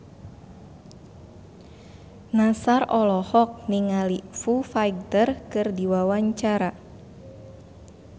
Nassar olohok ningali Foo Fighter keur diwawancara